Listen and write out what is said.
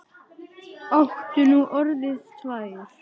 Áttu nú orðið tvær?